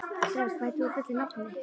Dröfn, hvað heitir þú fullu nafni?